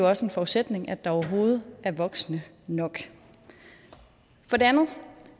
også en forudsætning at der overhovedet er voksne nok for det andet